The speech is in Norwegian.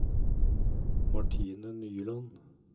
Martine Nyland